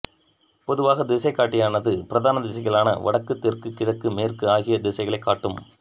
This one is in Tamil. பொதுவாக திசைகாட்டியானது பிரதான திசைகளான வடக்கு தெற்கு கிழக்கு மேற்கு ஆகிய திசைகளைக் காட்டும்